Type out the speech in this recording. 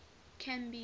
canby